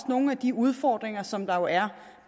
nogle af de udfordringer som der jo er